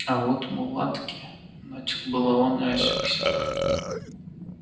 а вот мулатки начал было он и осекся